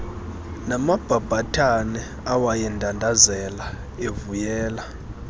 namabhabhathane awayendandazela evuyela